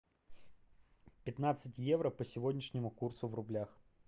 пятнадцать евро по сегодняшнему курсу в рублях